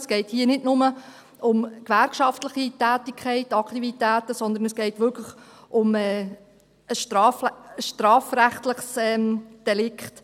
Es geht hier nicht nur um gewerkschaftliche Tätigkeiten, Aktivitäten, sondern es geht wirklich um ein strafrechtliches Delikt.